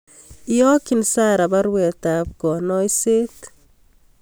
iyokyin Sara baruet ab kanaisyet